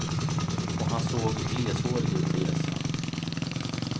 Och han såg gleshårig ut på hjässan.